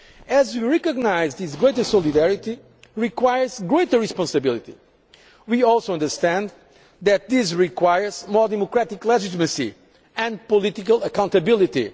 As we recognise that this greater solidarity requires greater responsibility we also understand that this requires more democratic legitimacy and political accountability.